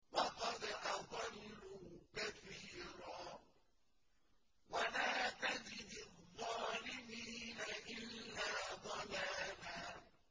وَقَدْ أَضَلُّوا كَثِيرًا ۖ وَلَا تَزِدِ الظَّالِمِينَ إِلَّا ضَلَالًا